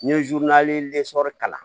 N ye kalan